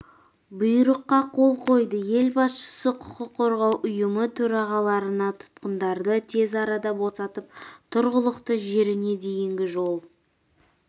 бұйрыққа қол қойды ел басшысы құқық қорғау ұйымы төрағаларына тұтқындарды тез арада босатып тұрғылықты жеріне дейінгі жол